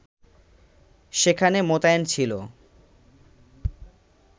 সেখানে মোতায়েন ছিল